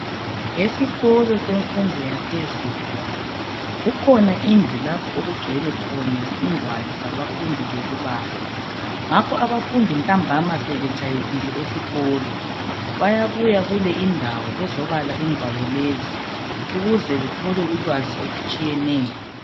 Esikolo semfundo yaphezulu kukhona indlu lapho okugcwele khona ingwalo zabafundi zokubala ngakho abafundi ntambama sebetshayisile esikolo bayabuya kule indawo bezo bala ingwalo lezi ukuze bathole ulwazi olutshiyeneyo